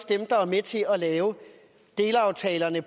dem der er med til at lave delaftalerne